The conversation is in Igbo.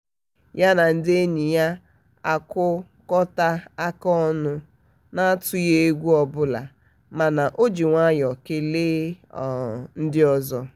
ya na ndị enyi na-akụkọta aka ọnụ na-atụghị egwu ọbụla mana o ji nwayọ kelee um ndị ọzọ. um